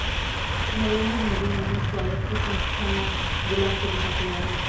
नरेंद्र मोदी यांनी स्वायत्त संस्थाना गुलाम करून टाकलं आहे